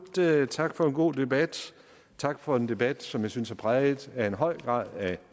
tak for en god debat tak for en debat som jeg synes var præget af en høj grad af